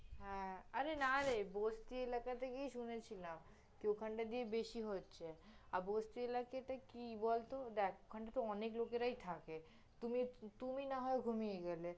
হ্যাঁ, আরে না রে বস্তি এলাকাতে গিয়ে শুনেছিলাম কি ওখানটা দিয়ে বেশি হচ্ছে, আর বস্তি এলাকাতে কি বলত, দেখ ওখানটাতে অনেক লোকেরাই থাকে, তুমি, তুমি না হয় ঘুমিয়ে গেলে